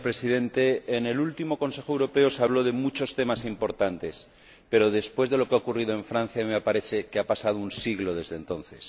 Señor Presidente, en el último Consejo Europeo se habló de muchos temas importantes, pero, después de lo que ha ocurrido en Francia, me parece que ha pasado un siglo desde entonces.